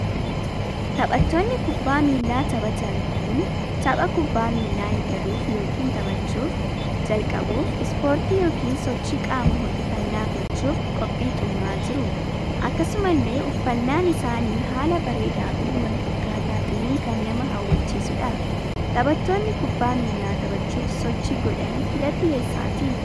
Taphattootni kubbaa miillaa taphatan kun tapha kubbaa miillaa eegaluuf yookiin taphachuuf /jalqabuuf ispoortii ykn sochii qaama ho'ifannaa gochuuf qophii xumuraa jiru. akkasumallee uffannaan isaanii haala bareedaafii wal fakkaata ta'een kan nama hawwachiisuudha. Taphattoonni kubbaa miillaa taphachuuf sochii godhan kilapii eessaadha?